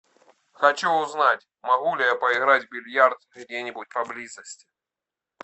хочу узнать могу ли я поиграть в бильярд где нибудь поблизости